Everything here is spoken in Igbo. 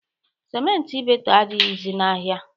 Siment Ibeto adịghịzị n'ahịa.